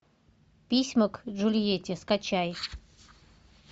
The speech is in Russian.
письма к джульетте скачай